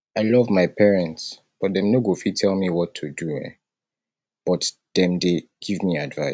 i love my parents but dem no go fit tell me what to do um but dem dey give me advice